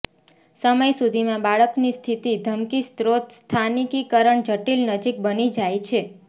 સમય સુધીમાં બાળકની સ્થિતિ ધમકી સ્રોત સ્થાનિકીકરણ જટિલ નજીક બની જાય છે